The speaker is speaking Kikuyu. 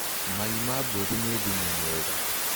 Mai ma mbũri nĩ thumu mwega.